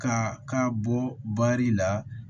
Ka ka bɔ la